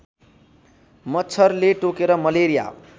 मच्छरले टोकेर मलेरिया